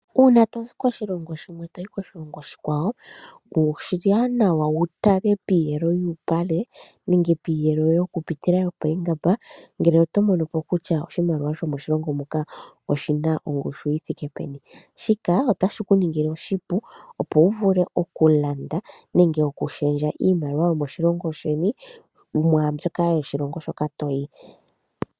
Uuna tozi koshilongo shimwe, toyi koshilongo oshikwawo oshiwanawa wu tale piiyelo yuupale nenge piiyelo yoku pitila yopoongamba ngele oto mono po kutya oshimaliwa shomoshilongo moka oshi na ongushu yi thike peni, shika otashi ku ningile oshipu, opo wu vule okulanda nenge okushendja iimaliwa yomoshilongo sheni nomwaa mbyoka yomoshilongo shoka toyi.